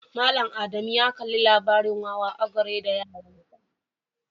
Mallam Ada mu ya Kalli labarin Wawa ogre da yaransa.